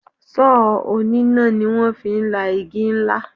Sọ́họ̀ òní iná ni wón fi ń la igi ńlá.